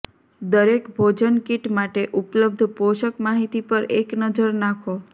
દરેક ભોજન કિટ માટે ઉપલબ્ધ પોષક માહિતી પર એક નજર નાખો